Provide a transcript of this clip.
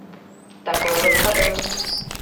такой вот содом